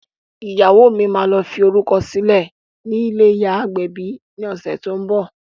Ìyàwó mi á lọ fi orúkọ sílẹ̀ nílé ìyá agbẹ̀bi ni ọ̀sẹ̀ tó ń bọ̀